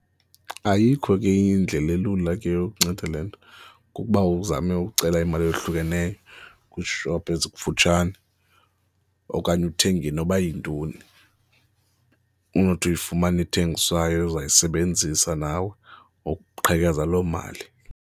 Ayikho ke indlela elula ke yokunceda le nto, kukuba uzame ucela imali eyohlukeneyo kwiishophu ezikufutshane okanye uthenge noba yintoni onothi uyifumane ethengiswayo ozawuyisebenzisa nawe ukuqhekeza loo mali.